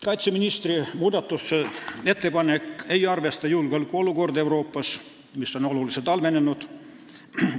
Kaitseministri ettepanek ei arvesta julgeolekuolukorda Euroopas, mis on oluliselt halvenenud.